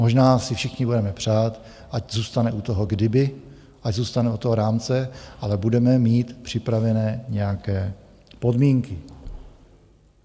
Možná si všichni budeme přát, ať zůstane u toho "kdyby", ať zůstane u toho rámce, ale budeme mít připravené nějaké podmínky.